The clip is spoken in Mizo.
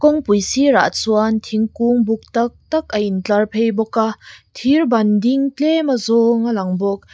kawngpui sirah chuan thingkung buk tak tak a intlar phei bawka thirban ding tlema zawng a lang bawk.